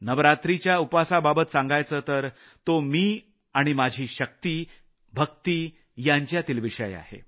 नवरात्रीच्या उपासाबाबत सांगायचं तर तो मी आणि माझी शक्ती भक्ति यांच्यातील विषय आहे